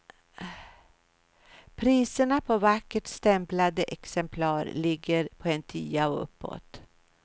Priserna på vackert stämplade exemplar ligger på en tia och uppåt.